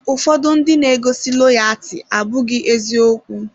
Ụfọdụ ndị na-eguzosi loyaati abụghị eziokwu.